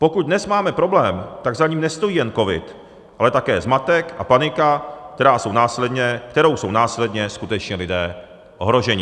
Pokud dnes máme problém, tak za ním nestojí jen covid, ale také zmatek a panika, kterou jsou následně skutečně lidé ohroženi.